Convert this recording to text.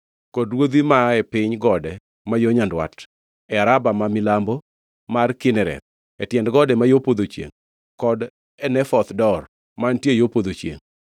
kod ruodhi mae piny gode ma yo nyandwat e Araba ma milambo mar Kinereth, e tiend gode ma yo podho chiengʼ kod e Nafoth Dor mantiere yo podho chiengʼ.